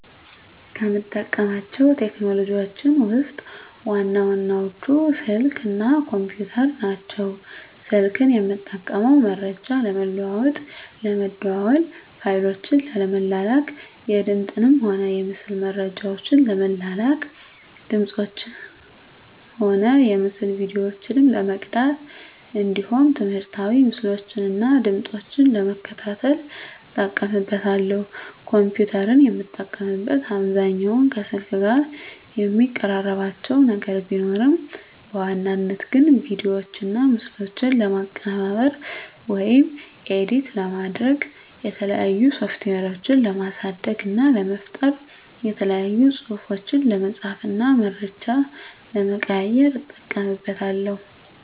ከምጠቀማቸው ቴክኖሎጂዎችን ውስጥ ዋና ዋናዎቹ ስልክ እና ኮምፒተር ናቸው። ስልክን የምጠቀመው መረጃ ለመለዋዎጥ ለመደዋዎል፣ ፋይሎችን ለመላላክ፣ የድምፅንም ሆነ የምስል መረጃዎችን ለመላላክ፣ ድምፆችን እና የምስል ቪዲዮዎችን ለመቅዳት እንዲሁም ትምህርታዊ ምስሎችን እና ድምጾችን ለመከታተል እጠቀምበታለሁ። ኮምፒተርን የምጠቀምበት አብዛኛውን ከስልክ ጋር የሚቀራርባቸው ነገር ቢኖርም በዋናነት ግን ቪዲዮዎችና ምስሎችን ለማቀነባበር (ኤዲት) ለማድረግ፣ የተለያዩ ሶፍትዌሮችን ለማሳደግ እና ለመፍጠር፣ የተለያዩ ፅሁፎችን ለመፃፍ እና መረጃ ለመቀያየር ... እጠቀምበታለሁ።